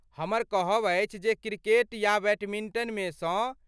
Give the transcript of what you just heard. हमर कहब अछि जे क्रिकेट या बैडमिंटनमे सँ।